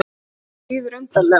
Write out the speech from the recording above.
Mér líður undarlega.